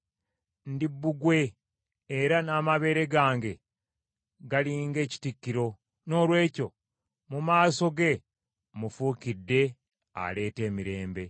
Ndi bbugwe era n’amabeere gange gali ng’ekitikkiro, noolwekyo mu maaso ge, mmufuukidde aleeta emirembe.